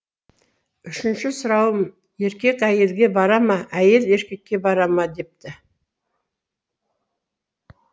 үшінші сұрауым еркек әйелге бара ма әйел еркекке бара ма депті